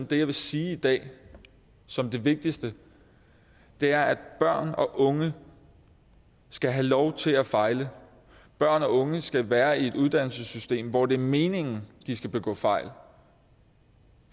det jeg vil sige i dag som det vigtigste er at børn og unge skal have lov til at fejle børn og unge skal være i et uddannelsessystem hvor det er meningen at de skal begå fejl